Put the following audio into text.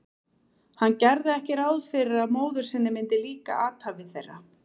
Hann gerði ekki ráð fyrir að móður sinni myndi líka athæfi þeirra.